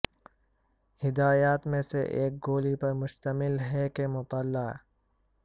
ہدایات میں سے ایک گولی پر مشتمل ہے کہ مطلع